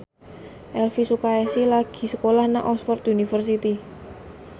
Elvi Sukaesih lagi sekolah nang Oxford university